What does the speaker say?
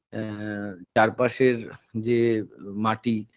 আ চারপাশের যে মাটি